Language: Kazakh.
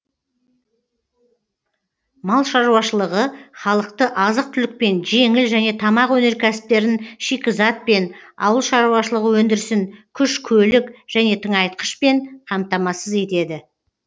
мал шаруашылығы халықты азық түлікпен жеңіл және тамақ өнеркәсіптерін шикізатпен ауыл шаруашылығы өндірісін күш көлік және тыңайтқышпен қамтамасыз етеді